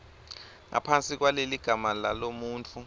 ngaphansi kwaleligama lalomuntfu